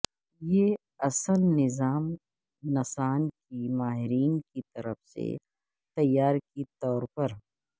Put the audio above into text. یہ اصل نظام نسان کے ماہرین کی طرف سے تیار کے طور پر